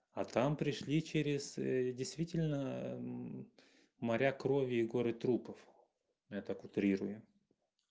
а там пришли через действительно моря крови и горы трупов я так утрирую